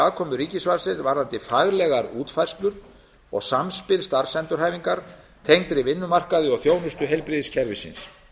aðkomu ríkisvaldsins varðandi faglegar útfærslur og samspil starfsendurhæfingar tengdri vinnumarkaði og þjónustu heilbrigðiskerfisins